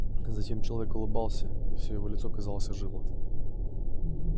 а затем человек улыбался и всё его лицо казалось ожило